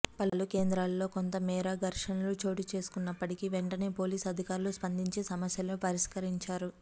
పలు కేంద్రాల్లో కొంత మేర ఘర్షనలు చోటుచేసుకున్నాప్పటికి వెంటనే పోలీస్ అధికారులు స్పందించి సమస్యలను పరిష్కరించారు